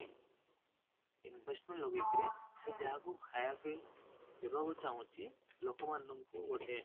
investment ଲଗେଇକି ସେ ଯାହାକୁ ଖାଇବା ପାଇଁ ଦେବାକୁ ଚାହୁଁଛି ଲୋକ ମାନଙ୍କୁ ଗୋଟେ